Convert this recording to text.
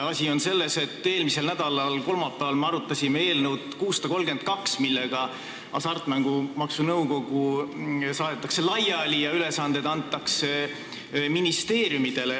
Asi on selles, et eelmise nädala kolmapäeval me arutasime eelnõu 632, mille kohaselt Hasartmängumaksu Nõukogu saadetakse laiali ja tema ülesanded antakse üle ministeeriumidele.